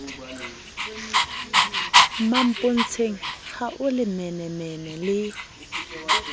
mmampontsheng ha o lelemenemene le